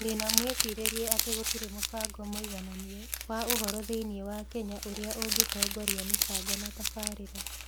Ndĩ na mwĩcirĩrie atĩ gũtirĩ mũbango mũigananie wa ũhoro thĩinĩ wa Kenya ũrĩa ũngĩtongoria mĩbango na tabarĩra.